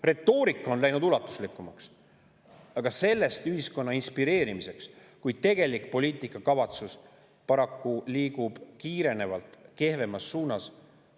Retoorika on läinud ulatuslikumaks, aga sellest ühiskonna inspireerimiseks, kui tegelik poliitikakavatsus liigub paraku kiirenevalt kehvemas suunas.